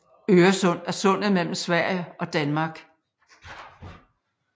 Øresund er sundet mellem Sverige og Danmark